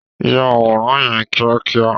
Yà àwòrán yẹn kíákíá!